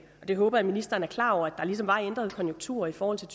jeg håber at ministeren er klar over at der ligesom var ændrede konjunkturer i forhold til